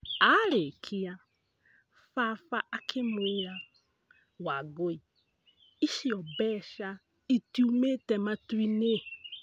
Aarĩkia, baba akĩmwĩra," Wangũi, icio mbeca itiumĩte matuinĩ".